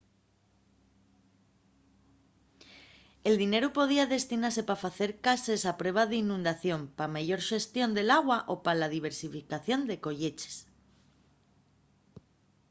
el dineru podía destinase pa facer cases a prueba d’inundación pa una meyor xestión del agua o pa la diversificación de colleches